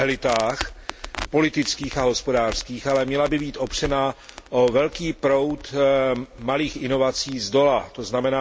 elitách politických a hospodářských, ale měla by být opřena o velký proud malých inovací zdola, tzn.